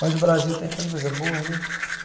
Mas o Brasil tem tantas coisas boas né.